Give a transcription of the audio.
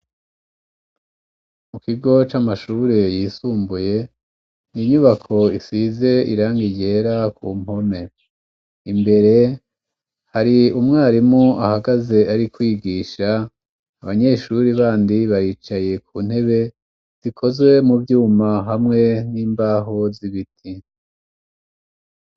Mu kigo c'amashure yisumbuye inyubako isize irangi ryera ku mpome imbere, hari umwarimu ahagaze ari kwigisha abanyeshuri bandi bayicaye ku ntebe zikozwe mu vyuma hamwe n'imbaho z'ibiti.